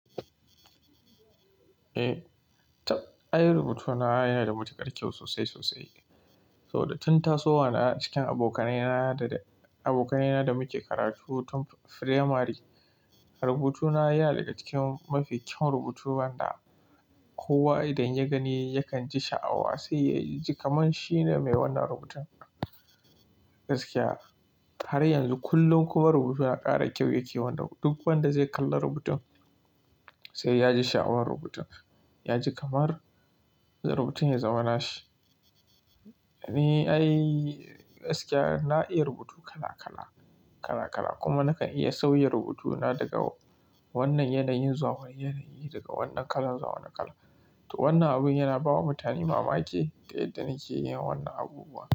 Eh, ai rubutuna yana da matuƙar kyau sosai sosai. To da tun tasowa na cikin abokanaina da muke karatu tun firamari, rubutuna ya nadaga cikin mafi kyawun rubutu haka kowa idan ya gani yakan ji sha'awa sai yaji kamar shine mai wannan rubutun. Gaskiya har yanzu kullum kuma rubutun ya ƙara kyau yake wannan duk wanda zai kalla rubutun sai yaji sha'awar rubutun. Yaji kamar rubutun ya zama nashi. Ni ai gaskiya na iya rubutu kala kala kuma nakan iya sauya rubutuna daga wannan yanayin zuwa wani yanayi, daga wannan kalan zuwa wani kala. To wannan abun yana bawa mutane mamaki da yadda nake yin wannan abubuwa.